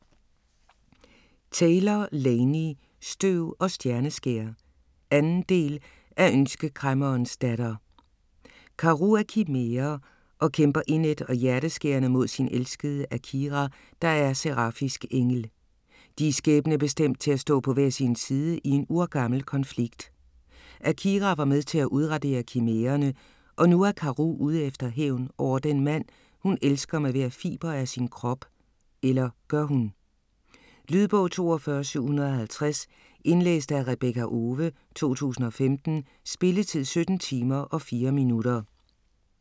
Taylor, Laini: Støv og stjerneskær 2. del af Ønskekræmmerens datter. Karou er kimære og kæmper indædt og hjerteskærende mod sin elskede Akira, der er serafisk engel. De er skæbnebestemt til at stå på hver sin side i en urgammel konflikt. Akira var med til at udradere kimærerne, og nu er Karou ude efter hævn over den mand, hun elsker med hver fiber af sin krop - eller gør hun? Lydbog 42750 Indlæst af Rebekka Owe, 2015. Spilletid: 17 timer, 4 minutter.